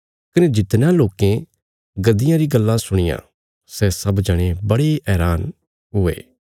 कने जितणयां लोकें गद्दियां री गल्लां सुणियां सै सब जणे बड़े हैरान हुये